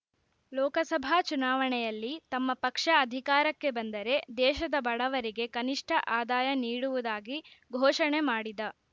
ಲೋಕಸಭಾ ಚುನಾವಣೆಯಲ್ಲಿ ತಮ್ಮ ಪಕ್ಷ ಅಧಿಕಾರಕ್ಕೆ ಬಂದರೆ ದೇಶದ ಬಡವರಿಗೆ ಕನಿಷ್ಠ ಆದಾಯ ನೀಡುವುದಾಗಿ ಘೋಷಣೆ ಮಾಡಿದ